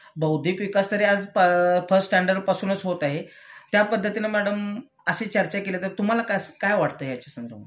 बौद्धिक विकास तरी आज प फर्स्ट स्टॅंडर्ड पासूनच होत आहे.त्यापद्धतीने मॅडम अशी चर्चा केली तर तुम्हाला कसं काय वाटतंय ह्याच्यासंदर्भात